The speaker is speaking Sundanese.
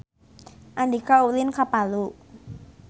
Andika ulin ka Palu